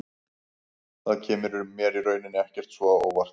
Það kemur mér í rauninni ekkert svo á óvart.